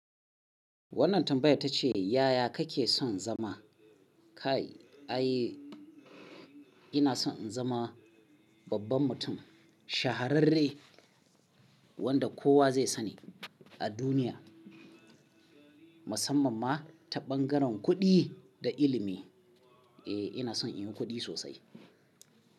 Wannan tambayar ta ce, yaya kake son zama? Kai, ai ina son in zama babban mutum, shahararre wanda kowa zai sani a duniya, musamman ma ta bangaren kuɗi da ilimi. Eh ina son inyi kuɗi sosai.